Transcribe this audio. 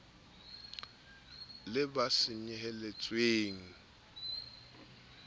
le ba senyehetsweng ke tsonad